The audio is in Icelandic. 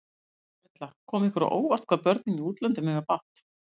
Erla: Kom ykkur á óvart, hvað börnin í útlöndum eiga bágt?